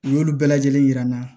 U y'olu bɛɛ lajɛlen yira n na